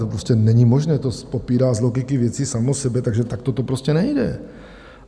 To prostě není možné, to popírá z logiky věci samo sebe, takže takto to prostě nejde!